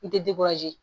N tɛ